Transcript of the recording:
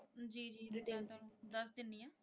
ਜੀ ਜੀ ਡਿਟੇਲ ਤੁਹਾਨੂੰ ਦੱਸ ਦਿੰਨੀ ਆ।